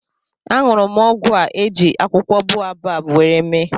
añụrụ m ọgwụ a eji akwụkwọ boabab nwere mee